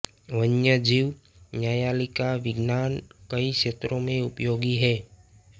वन्यजीव न्यायालयिक विज्ञान कई क्षेत्रों में उपयोगी है